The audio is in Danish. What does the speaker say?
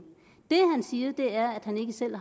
det han siger er at han ikke selv